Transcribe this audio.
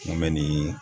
Mun bɛ nin